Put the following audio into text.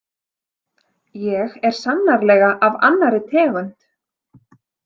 Ég er sannarlega af annarri tegund.